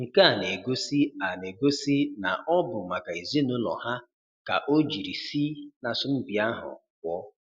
Nke a na-egosi a na-egosi na ọ bụ maka ezinaụlọ ha ka o jiri si na asọmpị ahụ pụọ.